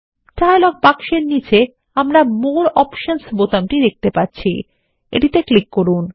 dialogue বাক্সের নীচে আমরা মোরে অপশনস বোতামটি দেখতে পাচ্ছি এটি তে ক্লিককরুন